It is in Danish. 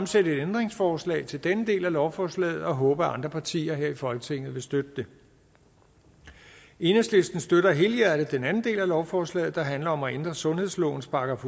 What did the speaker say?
stille et ændringsforslag til denne del af lovforslaget og håber at andre partier her i folketinget vil støtte det enhedslisten støtter helhjertet den anden del af lovforslaget der handler om at ændre sundhedslovens §